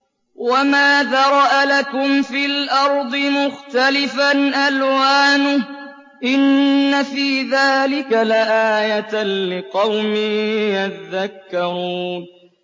وَمَا ذَرَأَ لَكُمْ فِي الْأَرْضِ مُخْتَلِفًا أَلْوَانُهُ ۗ إِنَّ فِي ذَٰلِكَ لَآيَةً لِّقَوْمٍ يَذَّكَّرُونَ